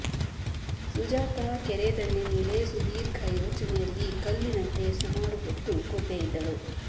ಸುಜಾತಾ ಕೆರೆ ದಂಡೆಮೇಲೆ ಸುದೀರ್ಘ ಯೋಚನೆಯಲ್ಲಿ ಕಲ್ಲಿನಂತೆ ಸುಮಾರು ಹೊತ್ತು ಕೂತೇ ಇದ್ದಳು